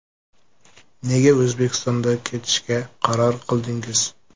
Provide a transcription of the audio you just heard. Nega O‘zbekistonda ketishga qaror qildingiz?